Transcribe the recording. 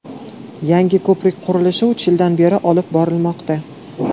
Yangi ko‘prik qurilishi uch yildan beri olib borilmoqda.